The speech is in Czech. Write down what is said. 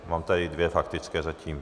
Mám tady dvě faktické zatím.